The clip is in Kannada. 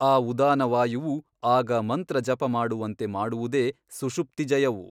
ಆ ಉದಾನವಾಯುವು ಆಗ ಮಂತ್ರ ಜಪಮಾಡುವಂತೆ ಮಾಡುವುದೇ ಸುಷುಪ್ತಿ ಜಯವು.